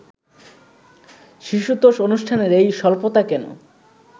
শিশুতোষ অনুষ্ঠানের এই স্বল্পতা কেন